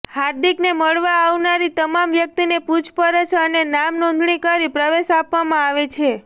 હાર્દિકને મળવા આવનારી તમામ વ્યકિતને પુછપરછ અને નામ નોંધણી કરી પ્રવેશ આપવામાં આવે છે